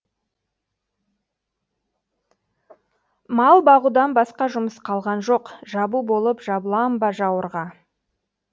мал бағудан басқа жұмыс қалған жоқ жабу болып жабылам ба жауырға